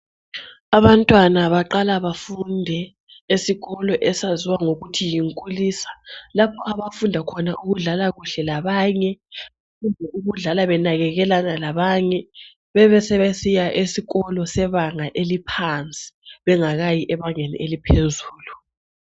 Abantwana baqala bafunde esikolo esaziwa ngokuthi yinkulisa lapho abafunda khona ukudlala kuhle labanye, kumbe ukudlala benakakelana labanye bebesebesiya esikolo sebanga eliphansi bengakayi ebangeni eliphezulu.